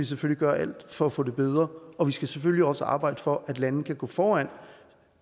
selvfølgelig gøre alt for at få det gjort bedre og vi skal selvfølgelig også arbejde for at lande kan gå foran